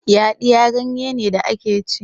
yaɗiya ganye ne da ake ci